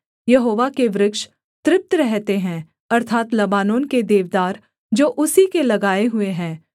यहोवा के वृक्ष तृप्त रहते हैं अर्थात् लबानोन के देवदार जो उसी के लगाए हुए हैं